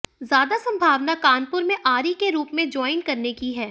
ज्यादा संभावना कानपुर में आरई के रूप में ज्वाइन करने की है